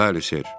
Bəli, Sir.